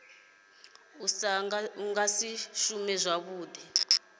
u sa nga shumi zwavhuḓi